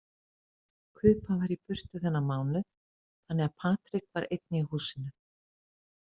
Kuba var í burtu þennan mánuð þannig að Patrik var einn í húsinu.